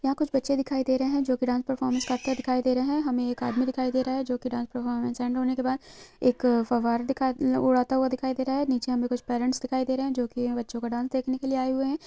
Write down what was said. यहाँ कुछ बच्चे दिखाई दे रहे है जोकि डान्स परफॉरमेंस करते हुए दिखाई दे रहे है हमें एक आदमी दिखाई दे रहा है जोकि डान्स परफॉरमेंस एन्ड होने बाद एक फव्वरा दिखा उड़ाता हुआ दिखाई दे रहा है नीचे हमें कुछ परेंट्स दिखाई दे रहे है जोकि यह बच्चों का डान्स देखने लिए आये हुए हैं।